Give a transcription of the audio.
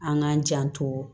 An k'an janto